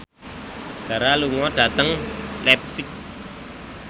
Dara lunga dhateng leipzig